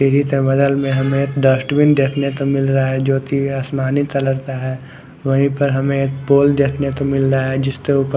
TV के बगल मे हमे डस्टबिन देखने को मिल रहा है जो की आसमानी कलर का है वही पर हमे पोल देखने को मिल जिस के ऊपर--